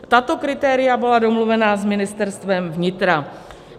Tato kritéria byla domluvena s Ministerstvem vnitra.